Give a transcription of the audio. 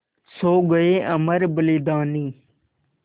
सो गये अमर बलिदानी